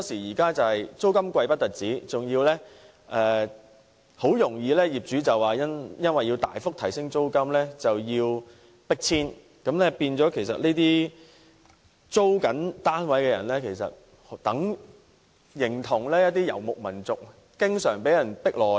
再者，除了捱貴租外，他們很多時更會因業主大幅提高租金而被迫遷，令這些租住單位的人士，形同遊牧民族經常被迫遷。